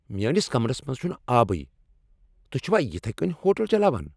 میٲنس کمرس منز چھنہٕ آبٕے! تہۍ چھوا یتھے کٔنۍ ہوٹل چلاوان؟